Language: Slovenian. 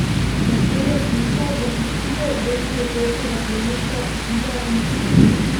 Nekje je slišal, da so skupaj obesili poljskega plemiča, Žida in psa.